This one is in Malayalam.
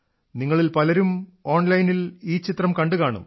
നിങ്ങളിൽത്തന്നെ പലരും ഓൺലൈനിൽ ഈ ചിത്രം കണ്ടുകാണും